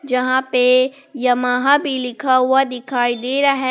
जहां पे यमाहा भी लिखा हुआ दिखाई दे रहा है।